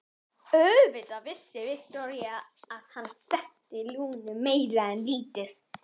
Auðvitað vissi Viktoría að hann þekkti Lúnu meira en lítið.